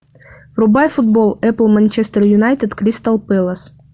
врубай футбол апл манчестер юнайтед кристал пэлас